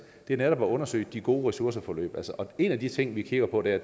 er netop at undersøge de gode ressourceforløb en af de ting vi kigger på der